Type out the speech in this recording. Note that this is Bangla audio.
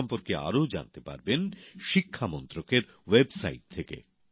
এই সম্পর্কে আরও জানতে পারবেন শিক্ষা মন্ত্রকের ওয়েব সাইট থেকে